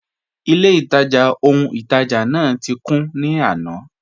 Ilẹ̀-ìtajá ọhun-ìtajá náà ti kùn ní àná.